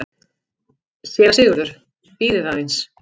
SÉRA SIGURÐUR: Bíðið aðeins!